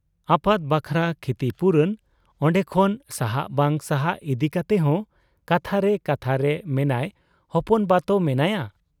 ᱟᱯᱟᱛ ᱵᱟᱠᱷᱨᱟ ᱠᱷᱤᱛᱤᱯᱩᱨᱚᱱ ᱚᱱᱰᱮᱠᱷᱚᱱ ᱥᱟᱦᱟᱜ ᱵᱟᱝ ᱥᱟᱦᱟᱜ ᱤᱫᱤ ᱠᱟᱛᱮᱦᱚᱸ ᱠᱟᱛᱷᱟᱨᱮ ᱠᱟᱛᱷᱟᱨᱮ ᱢᱮᱱᱟᱭ ᱦᱚᱯᱚᱱᱵᱟᱛᱚ ᱢᱮᱱᱟᱭᱟ ᱾